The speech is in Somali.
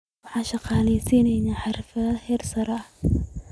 Waxaan shaqaaleysiinaynaa xirfadlayaal heer sare ah.